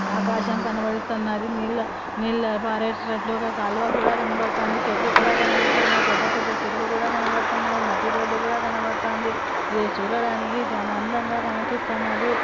ఆకాశం కనబడుతన్నది. నీళ్ళ నీళ్ళ పారేతట్లుగా కాల్వ కూడా కనబడతాంది. చెట్లు కూడా కనపడుతున్నాయి. పెద్ద పెద్ద చెట్లు కనపడుతున్నాయి. మట్టి రోడ్ కూడా కనపడుతాంది. ఇది చూడ దానికి చానా అందంగా కనిపిస్తానది.